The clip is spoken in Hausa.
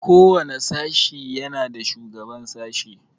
Ko wani sashi yana da shugaban sashi.